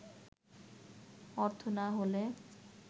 অর্থ না হলে